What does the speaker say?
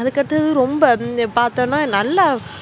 அதுக்கு அடுத்து ரொம்ப பாத்தனா